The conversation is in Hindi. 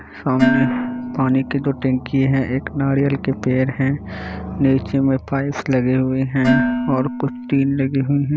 सामने पानी की दो टंकी है एक नारियल के पेड़ है नीचे में पाइप्स लगे हुए है और कुछ टीन लगे हुए है।